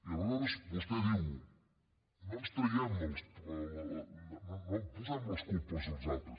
i aleshores vostè diu no posem les culpes als altres